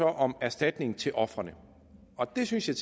om erstatning til ofrene og det synes jeg